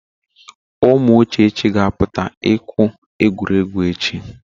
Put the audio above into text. Ụmụ Uchechi ga apụta ịkwụ egwuregwu echi.